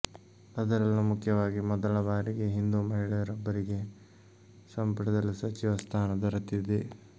ಅದರಲ್ಲೂ ಮುಖ್ಯವಾಗಿ ಮೊದಲ ಬಾರಿಗೆ ಹಿಂದೂ ಮಹಿಳೆಯೊಬ್ಬರಿಗೆ ಸಂಪುಟದಲ್ಲಿ ಸಚಿವ ಸ್ಥಾನ ದೊರೆತಿದೆ